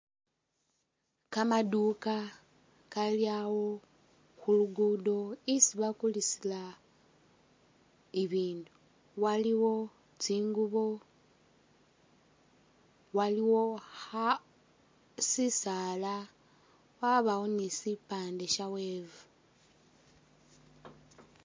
Kamaduka kalyawo khulugudo isi bakulisila i'bindu waliwo tsingubo waliwo Kha.. sisaala wabawo ni sipande sha wave